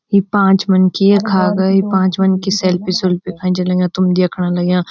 यी पांच मनखी यख आ गए पांच मनखी सेल्फी सुल्फी खेंचन लग्यां तुम देखण लग्याँ।